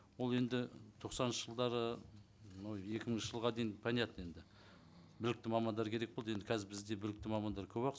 ол енді тоқсаныншы жылдары мынау екі мыңыншы жылға дейін понятно енді білікті мамандар керек болды енді қазір бізде білікті мамандар көп ақ